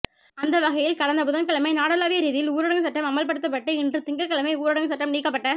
அந்தவகையில் கடந்த புதன்கிழமை நாடளாவிய ரீதியில் ஊடரங்கு சட்டம் அமுல்ப்படுத்தப்பட்டு இன்று திங்கட்கிழமை ஊடரங்கு சட்டம் நீக்கப்பட்ட